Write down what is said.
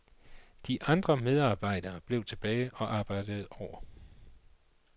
De andre medarbejderne blev tilbage og arbejdede over.